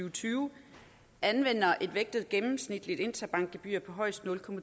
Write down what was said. og tyve anvender et vægtet gennemsnitligt interbankgebyr på højst nul